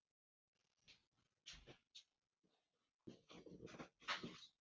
Í síðarnefnda tilvikinu fer stjórnin sjálf með allan daglegan rekstur.